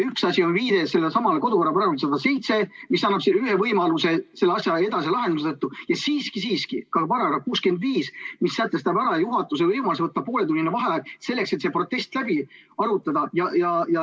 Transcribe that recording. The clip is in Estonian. Üks asi on viide kodu- ja töökorra seaduse §-le 107, mis annab ühe võimaluse seda asja lahendada, ja siiski-siiski ka § 65, mis sätestab juhatuse võimaluse võtta pooletunnine vaheaeg, et see protest läbi arutada.